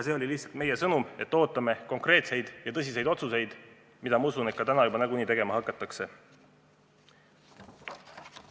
See oli lihtsalt meie sõnum, et ootame konkreetseid ja tõsiseid otsuseid, mida, ma usun, täna ka nagunii tegema hakatakse.